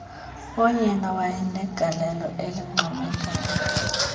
oye wanegaieio elincoomekayo